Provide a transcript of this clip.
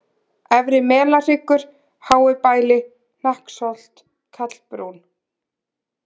Efri-Melahryggur, Háubæli, Hnakksholt, Kallbrún